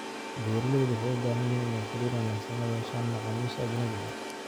Beeralaydu waxay u baahan yihiin inay xiriir wanaagsan la yeeshaan macaamiisha ajnabiga ah.